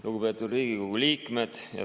Lugupeetud Riigikogu liikmed!